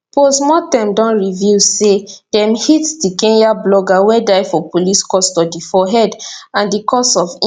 postmortem don reveal say dem hit di kenyan blogger wey die for police custody for head and di cause of im